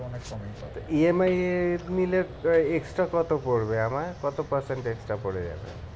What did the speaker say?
E. M. I. এ নিলে extra কত পরবে আমার কত percentage টা পরে যাবে?